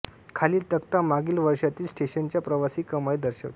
खालील तक्ता मागील वर्षातील स्टेशनच्या प्रवासी कमाई दर्शविते